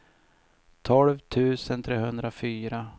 tolv tusen trehundrafyra